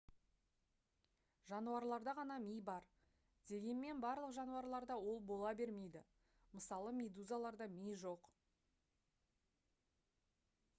жануарларда ғана ми бар дегенмен барлық жануарларда ол бола бермейді мысалы медузаларда ми жоқ